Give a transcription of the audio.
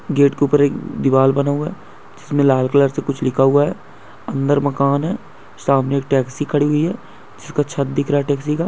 Gate के ऊपर एक दीवाल बना हुआ है जिसमें लाल कलर से कुछ लिखा हुआ है अंदर मकान है सामने एक टैक्सी खड़ी हुई है जिसका छत दिख रहा है टैक्सी का।